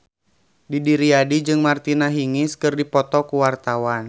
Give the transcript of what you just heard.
Didi Riyadi jeung Martina Hingis keur dipoto ku wartawan